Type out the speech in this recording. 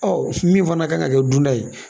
Ɔ min fana kan ka kɛ dunta ye